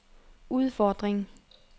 udfordring